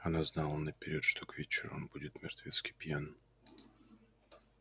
она знала наперёд что к вечеру он будет мертвецки пьян